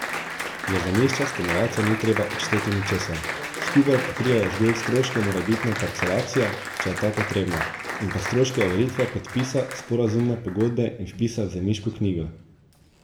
Za zemljišča stanovalcem ni treba odšteti ničesar, skupaj pokrijejo zgolj stroške morebitne parcelacije, če je ta potrebna, in pa stroške overitve podpisa sporazumne pogodbe in vpisa v zemljiško knjigo.